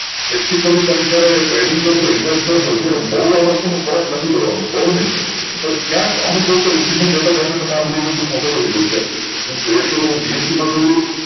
practically તમે જયારે trading કારસો invest કરશો ત્યારે બૌ આવસ્તુ માં ફરક નથી પડવાનું બૌ નહિ પણ ક્યાંક અમુક વસ્તુ તમને બીજી વસ્તુ ખબર હોવી જોઈએ કે trade હું BSE માં કરું